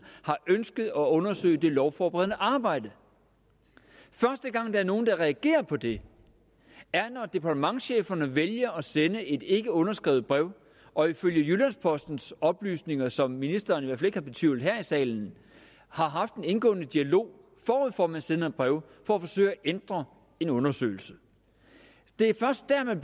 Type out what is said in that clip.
har ønsket at undersøge det lovforberedende arbejde første gang der er nogen der reagerer på det er når departementscheferne vælger at sende et ikke underskrevet brev og ifølge jyllands postens oplysninger som ministeren i hvert kan betvivle her i salen har haft en indgående dialog forud for at man sender brevet for at forsøge at ændre en undersøgelse det er først dér man